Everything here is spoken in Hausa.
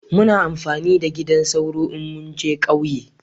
Muna amfani da gidan sauro in mun je kauye